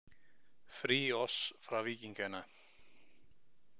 „Fri os fra vikingerne.“